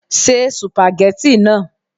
Se sùpàgẹ́tì náà